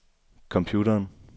computeren